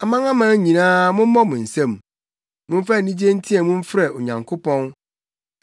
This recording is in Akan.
Amanaman nyinaa, mommɔ mo nsam; momfa anigye nteɛ mu mfrɛ Onyankopɔn.